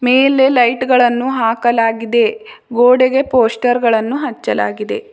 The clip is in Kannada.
ಇಲ್ಲಿ ಲೈಟುಗಳನ್ನು ಹಾಕಲಾಗಿದೆ ಗೋಡೆಗೆ ಪೋಸ್ಟರ್ ಗಳನ್ನು ಹಚ್ಚಲಾಗಿದೆ.